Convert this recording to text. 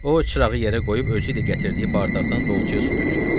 O çırağı yerə qoyub ölçü ilə gətirdiyi bardagdan dolçaya su tökdü.